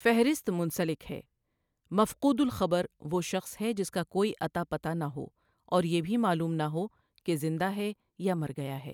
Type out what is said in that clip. فہرست منسلک ہے مَفْقُودُ الْخبر وہ شخص ہے جس کا کوئی اتا پتا نہ ہو اور یہ بھی معلوم نہ ہو کہ زندہ ہے یا مرگیا ہے